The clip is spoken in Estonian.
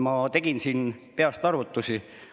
Ma tegin siin peast arvutusi.